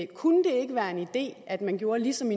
kunne det ikke være en idé at man gjorde ligesom